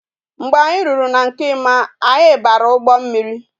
Mgbe anyi ruru na nke Emma anya bara ugbo mmiri